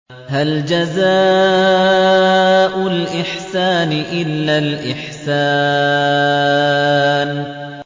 هَلْ جَزَاءُ الْإِحْسَانِ إِلَّا الْإِحْسَانُ